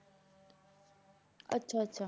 ਅੱਛਾ ਅੱਛਾ।